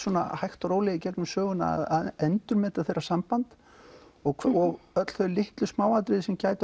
hægt og rólega í gegnum söguna að endurmeta þeirra samband og öll þau litlu smáatriði sem